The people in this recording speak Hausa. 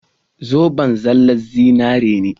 Zoben zallan zinari ne.